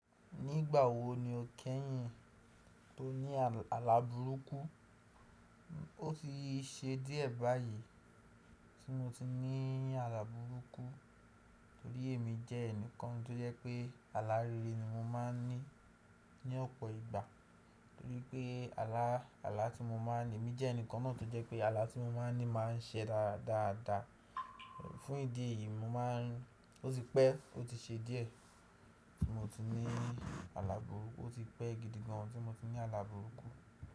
Nígbà wo ni o kẹ́yìn tó ní àlàburúkú? Ó ti ṣe díẹ̀ báyìí tí mo ti ní àlàburúkú torí èmi jẹ́ ẹnìkan tó jẹ́ pé alárere ni mo máà ń ní ní ọ̀pọ̀ ìgbà torí pé àlà tí mo máà ń ní, èmi jẹ́ ẹnìkan náà tó jẹ́ pé àlà tí mo máà ń ní máa ń sẹ dáadáa. Fún ìdí èyí mó máà ń, ó ti pẹ́, ó ti ṣe díẹ̀ tí mo ti ní àlàburúkú, ó ti pẹ́ gidi gan tí mo ti ní àlàburúkú.